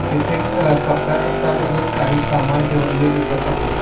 तिथे आ क कप्याकप्या मध्ये काही सामान ठेवलेले दिसत आहे.